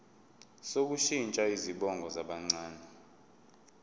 sokushintsha izibongo zabancane